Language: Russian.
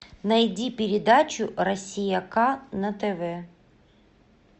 найди передачу россия к на тв